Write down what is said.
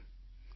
નમસ્કાર